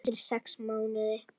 Eftir sex mánuði.